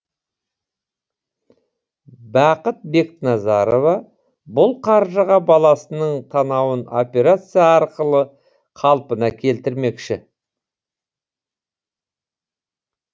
бақыт бекназарова бұл қаржыға баласының танауын операция арқылы қалпына келтірмекші